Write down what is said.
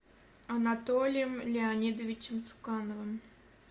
анатолием леонидовичем цукановым